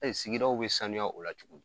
sigidaw bɛ sanuya o la cogo di ?